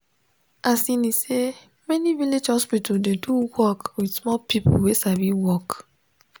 asini say many village hospital dey do work with small people wey sabi work.